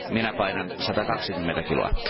Minä painan 120 kiloa.